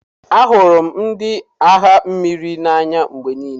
Ahụrụ m ndị agha mmiri n'anya mgbe niile.